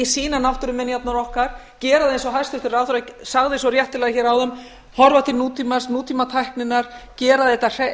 sýna náttúruminjarnar okkar gera það eins og hæstvirtur ráðherra sagði svo réttilega hér áðan horfa til nútímans nútímatækninnar gera þetta